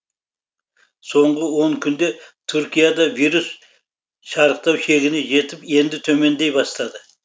соңғы он күнде түркияда вирус шарықтау шегіне жетіп енді төмендей бастады